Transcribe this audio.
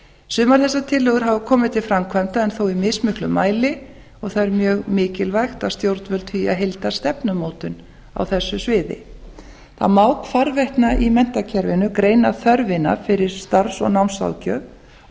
sumar þessar tillögur hafa komið til framkvæmda í mismiklum mæli og það er mjög mikilvægt að stjórnvöld hafi heildarstefnumótun á þessu sviði það má hvarvetna í menntakerfinu greina þörfina fyrir starfs og námsráðgjöf og